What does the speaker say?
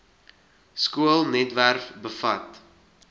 skoolnet webwerf bevat